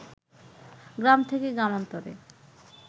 গ্রাম থেকে গ্রামান্তরে